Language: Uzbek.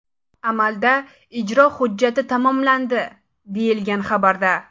Amalda ijro hujjati tamomlandi, deyilgan xabarda.